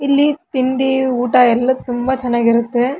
ಇಲ್ಲಿ ತಿಂಡಿ ಊಟ ಎಲ್ಲ ತುಂಬಾ ಚೆನ್ನಾಗಿರತ್ತೆ.